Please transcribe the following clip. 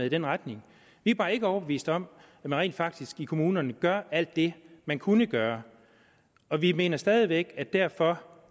i den retning vi er bare ikke overbevist om at man rent faktisk i kommunerne gør alt det man kunne gøre og vi mener stadig væk at det derfor